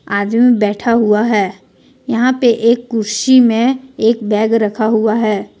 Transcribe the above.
आदमी बैठा हुआ है यहां पे एक कुर्सी में एक बैग रखा हुआ है।